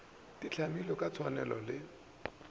di hlamilwe ka tshwanelo le